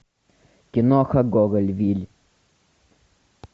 киноха гоголь вий